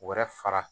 Wɛrɛ fara